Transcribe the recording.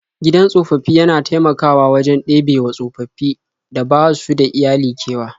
Gidan tsofaffi yana taimakawa wajen ɗebewa tsofaffin da basu da iyali kewa.